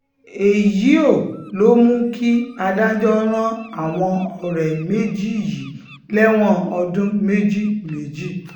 èyío ló mú kí adájọ́ ran àwọn ọ̀rẹ́ méjì yìí lẹ́wọ̀n ọdún méjì méjì